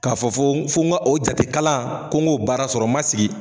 K'a fɔ f'o f'o n ka o jate kalan ko n go baara sɔrɔ n ma sigi